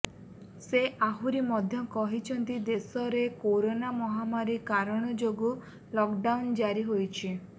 ସେ ଆହୁରି ମଧ୍ୟ କହିଛନ୍ତି ଦେଶରେ କରୋନା ମହାମାରୀ କାରଣ ଯୋଗୁଁ ଲକ୍ଡାଉନ୍ ଜାରି ହୋଇଛି